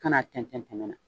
Kan'a tɛntɛn tɛmɛ na